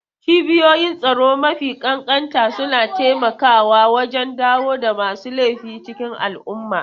Cibiyoyin tsaro mafi ƙanƙanta suna taimakawa wajen dawo da masu laifi cikin al'umma.